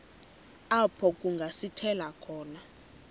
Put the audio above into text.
apho kungasithela khona